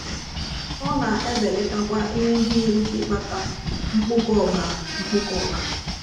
Ọ na-ebelatakwa ihe ndị nwere ike ịkpata mkpụkọ ọbara mkpụkọ ọbara.